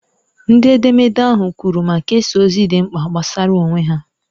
Ndị edemede ahụ kwuru ma kesaa ozi dị mkpa gbasara onwe ha.